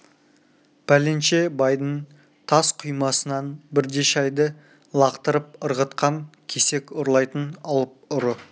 пәленше байдың тас құймасынан бірде шайды лақтырып ырғытқан кесек ұрлайтын алып ұры